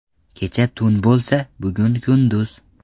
Kecha tun bo‘lsa, bugun kunduz.